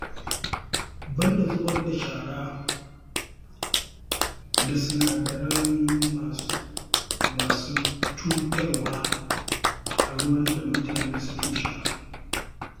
Banda zubar da shara da sinadarai masu cutarwa a ruwan da mutane suke sha